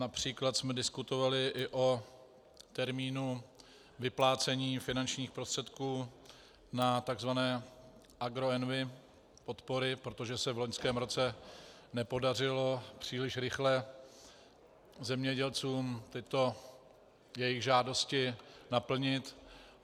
Například jsme diskutovali i o termínu vyplácení finančních prostředků na tzv. agroenvi podpory, protože se v loňském roce nepodařilo příliš rychle zemědělcům tyto jejich žádosti naplnit.